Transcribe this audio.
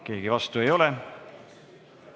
Keegi vastu ei ole.